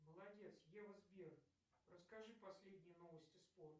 молодец ева сбер расскажи последние новости спорта